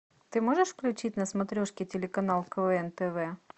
ты можешь включить на смотрешке телеканал квн тв